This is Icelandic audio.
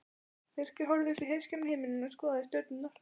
Birkir horfði upp í heiðskíran himininn og skoðaði stjörnurnar.